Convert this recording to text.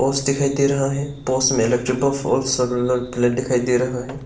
पोस दिखाई दे रहा है पोस में इलेक्ट्रिक दिखाई दे रहा है।